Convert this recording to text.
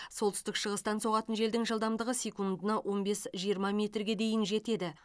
солтүстік шығыстан соғатын желдің жылдамдығы секундына он бес жиырма метрге дейін жетеді